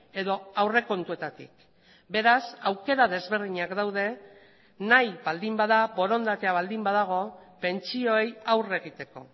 edo aurrekontuetatik beraz aukera desberdinak daude nahi baldin bada borondatea baldin badago pentsioei aurre egiteko